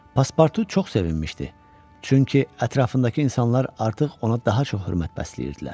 Paspartu çox sevinmişdi, çünki ətrafındakı insanlar artıq ona daha çox hörmət bəsləyirdilər.